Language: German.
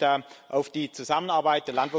Ich freue mich da auf die Zusammenarbeit.